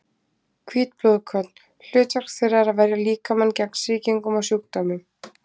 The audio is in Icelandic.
Hvít blóðkorn: hlutverk þeirra er að verja líkamann gegn sýkingum og sjúkdómum.